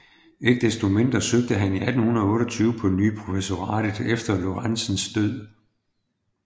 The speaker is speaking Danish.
Ikke desto mindre søgte han 1828 på ny professoratet efter Lorentzens død